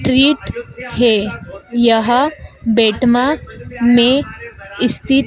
treat है यह बेटमा में स्थित--